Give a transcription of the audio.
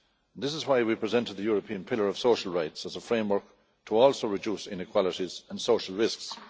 This is why we presented the European Pillar of Social Rights as a framework to also reduce inequalities and social risks.